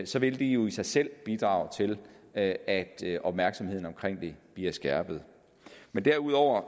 så vil det jo i sig selv bidrage til at at opmærksomheden om det bliver skærpet men derudover